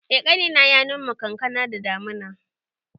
Eh, ƙanina ya noma kankana da damuna